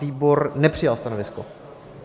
Výbor nepřijal stanovisko.